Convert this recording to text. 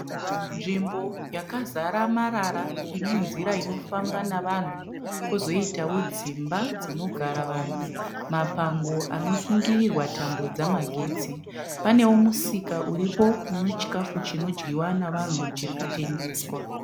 Nzvimbo yakazara marara ine nzira inofamba navanhu. Kwozoitawo dzimba dzinogara vanhu. Mapango anosungirirwa tambo dzamagetsi. Panewo musika uripo uno chikafu chinodyiwa navanhu chiri kutengeswa.